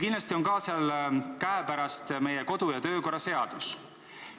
Kindlasti on teil käepärast meie kodu- ja töökorra seadus.